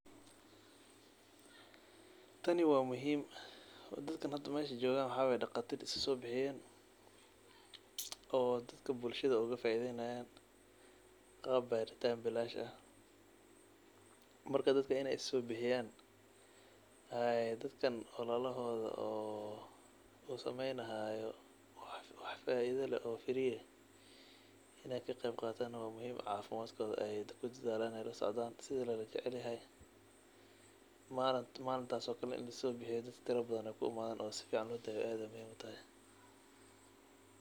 Tani wa muhiim dadka hada meesha jogan waxa waye daqatir isasobixiyen oo dadka bulshada ogafaidenayan qab baritan bilash ah marka dadka in isasobixiyan oo dadkan walaladod eh oo sameynayo wax firii aha in ey kaqeyb qatan wa muhiim oo cafimdkoda kudadalan ooo ey lasocdan sidii lojecelyahay. Mlintas oo kale inii laisosasobixiyo oo dadka tiro kuimadan oo sifican lodaweyo aad muhiim utahay.